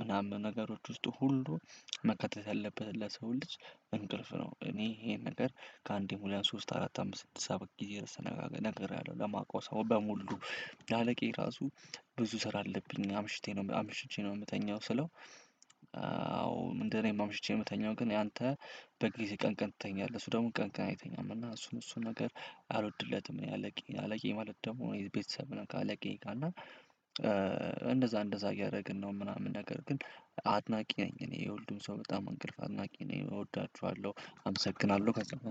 ምናምን ነገሮች ውስጥ ሁሉ። መካተት ያለበት ለሰው ልጅ እንቅልፍ ነው። እኔ ይሄን ነገር ከአንዴ ሁለት ሶስት አራት አምስት ስድስት ሰባት ጊዜ ርዕስ ተነጋግ ነግሬያለሁ ለማቀው ሰው በሙሉ ለአለቃዬ ራሱ ብዙ ስራ አለብኝ አምሽቼ ነው አምሽቼ ነው የምተኛው ስለው። አዎ እንደው አኔም አምሽቼ ነው የምተኛው ግን ያንተ በጊዜ ቀን ቀን ትተኛለህ እሱ ደግሞ ቀን ቀን አይተኛም እና እሱን እሱን ነገር። አልወድለትም እኔ አለቃዬ አለቃዬ ማለት ደግሞ እኔ ቤተሰብ ነን ከአለቃዬ ጋር እና። እንደዛ እንደዛ እያደረግን ነው ምናምን ነገር ግን አድናቂ ነኝ እኔ የሁሉም ሰው በጣም አንቅልፍ አድናቂ ነኝ እወዳችኋለሁ። አመሰግናለሁ።